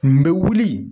N bɛ wuli